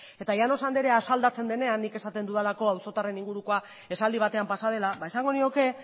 eta llanos andrea asaldatzen denean nik esaten dudalako auzotarren ingurukoa esaldi batean pasa dela ba esango nioke